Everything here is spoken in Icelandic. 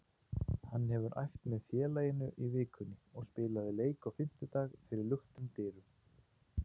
Hann hefur æft með félaginu í vikunni og spilaði leik á fimmtudag fyrir luktum dyrum.